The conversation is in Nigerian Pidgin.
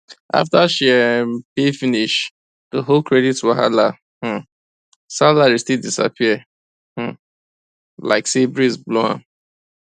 after she um pay finish the whole credit card wahala um salary still disappear um like say breeze blow am